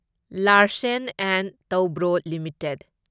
Larsen and Toubro limited